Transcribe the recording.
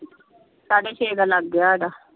ਸਾਡੇ ਛੇ ਦਾ ਲੱਗ ਗਿਆ ਸਾਡਾ।